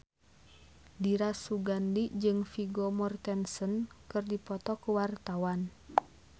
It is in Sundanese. Dira Sugandi jeung Vigo Mortensen keur dipoto ku wartawan